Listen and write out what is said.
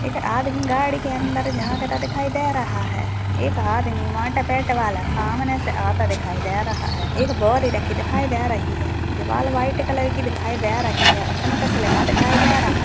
एक आदमी गाड़ी के अंदर झांकता दिखाई दे रहा है एक आदमी मोटे पेट वाला सामने से आता दिखाई दे रहा है एक बोरी रखी दिखाई दे रही है दीवाल वाइट कलर की दिखाई दे रही है उसमें कुछ लिखा दिखाई दे रहा --